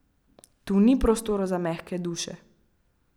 Tu ni prostora za mehke duše!